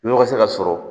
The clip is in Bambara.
Nɔgɔ se ka sɔrɔ